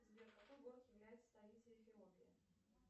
сбер какой город является столицей эфиопии